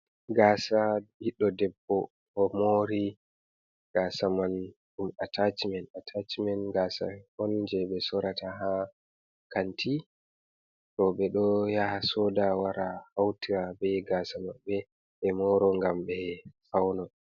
Gasa ɓidɗo debbo omori, gasa man ɗum atacimen atachimen gasa on je ɓe Sorata ha Kanti. Roɓe ɗo yaha Soda wara hauta be Gasa Mabɓe ɓe moro ngam ɓe Fauna.